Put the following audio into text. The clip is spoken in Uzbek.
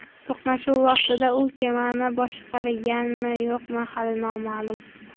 To‘qnashuv vaqtida u kemani boshqarganmi, yo‘qmi hali noma’lum.